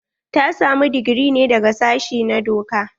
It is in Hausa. Ta samu digiri ne daga sashi na doka?